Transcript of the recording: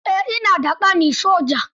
Eh, ina da ƙani soja.